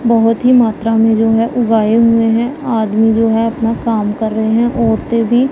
बहोत ही मात्रा में जो है उगाए हुए हैं आदमी जो है अपना काम कर रहे हैं औरते भी--